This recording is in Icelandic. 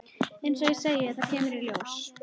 Eins og ég segi. það kemur í ljós.